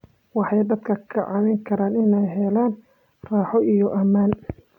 Waxay dadka ka caawin karaan inay helaan raaxo iyo ammaan.